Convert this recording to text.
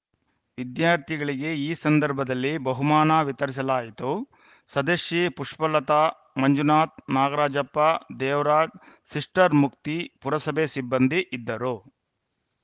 ವಿದ್ಯಾರ್ಥಿಗಳಿಗೆ ಈ ಸಂದರ್ಭದಲ್ಲಿ ಬಹುಮಾನ ವಿತರಿಸಲಾಯಿತು ಸದಸ್ಯೆ ಪುಷ್ಪಲತಾ ಮಂಜುನಾಥ್‌ ನಾಗರಾಜಪ್ಪ ದೇವರಾಜ್‌ ಸಿಸ್ಟರ್‌ ಮುಕ್ತಿ ಪುರಸಭೆ ಸಿಬ್ಬಂದಿ ಇದ್ದರು